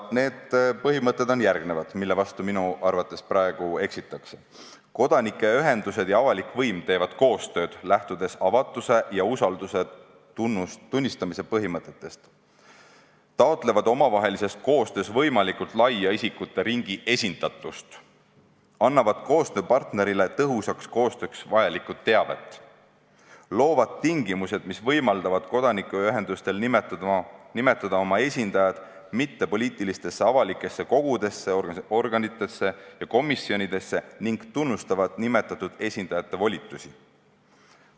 Need põhimõtted on järgmised ja minu arvates nende vastu praegu eksitakse: kodanikuühendused ja avalik võim teevad koostööd, lähtudes avatuse ja usalduse tunnistamise põhimõtetest; nad taotlevad omavahelises koostöös võimalikult laia isikute ringi esindatust, annavad koostööpartnerile tõhusaks koostööks vajalikku teavet ning loovad tingimused, mis võimaldavad kodanikuühendustel nimetada oma esindajaid mittepoliitilistesse avalikesse kogudesse, organitesse ja komisjonidesse; nad tunnustavad nimetatud esindajate volitusi.